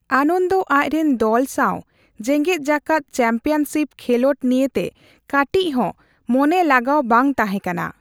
ᱟᱱᱚᱱᱫᱚ ᱟᱪᱨᱮᱱ ᱫᱚᱞ ᱥᱟᱣ ᱡᱮᱜᱮᱫ ᱡᱟᱠᱟᱫ ᱪᱮᱢᱯᱤᱭᱚᱱ ᱥᱤᱯ ᱠᱷᱮᱞᱚᱸᱰ ᱱᱤᱭᱟᱹᱛᱮ ᱠᱟᱴᱤᱪ ᱦᱚᱸ ᱢᱚᱱᱮᱞᱟᱜᱟᱣ ᱵᱟᱝᱛᱟᱦᱮᱸ ᱠᱟᱱᱟ ᱾